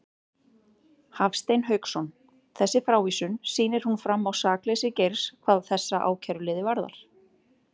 Hafstein Hauksson: Þessi frávísun, sýnir hún fram á sakleysi Geirs hvað þessa ákæruliði varðar?